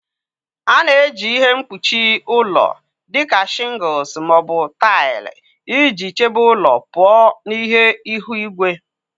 A na-eji ihe mkpuchi ụlọ dị ka shingles ma ọ bụ taịlị iji chebe ụlọ pụọ na ihe ihu igwe.